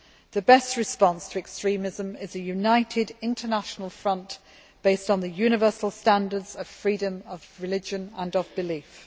The best response to extremism is a united international front based on the universal standards of freedom of religion and freedom of belief.